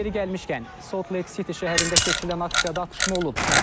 Yeri gəlmişkən, Salt Lake City şəhərində keçirilən aksiyada atışma olub.